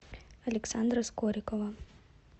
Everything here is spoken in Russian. александра скорикова